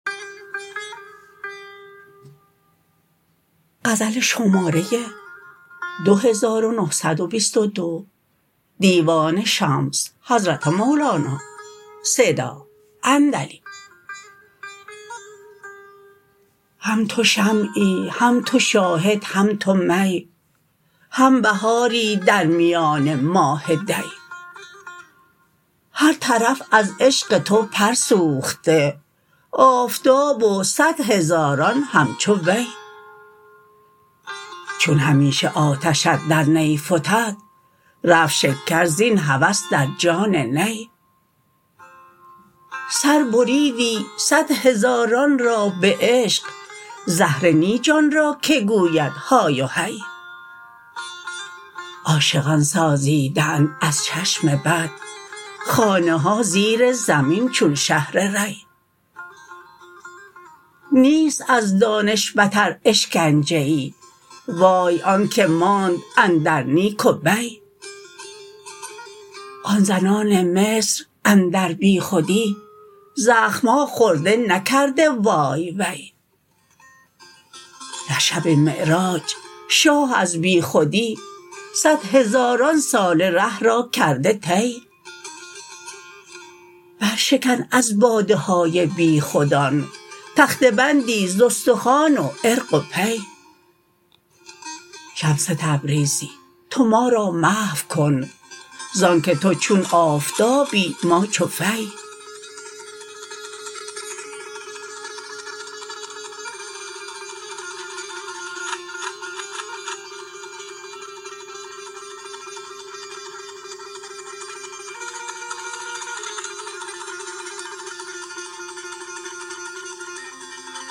هم تو شمعی هم تو شاهد هم تو می هم بهاری در میان ماه دی هر طرف از عشق تو پر سوخته آفتاب و صد هزاران همچو دی چون همیشه آتشت در نی فتد رفت شکر زین هوس در جان نی سر بریدی صد هزاران را به عشق زهره نی جان را که گوید های و هی عاشقان سازیده اند از چشم بد خانه ها زیر زمین چون شهر ری نیست از دانش بتر اشکنجه ای وای آنک ماند اندر نیک و بی آن زنان مصر اندر بیخودی زخم ها خورده نکرده وای وی در شب معراج شاه از بیخودی صدهزاران ساله ره را کرده طی برشکن از باده های بیخودان تخته بندی ز استخوان و عرق و پی شمس تبریزی تو ما را محو کن ز آنک تو چون آفتابی ما چو فی